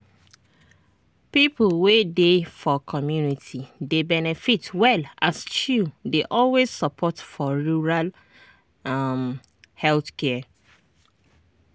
people wey dey for community dey benefit well as chws dey always support for rural um health care.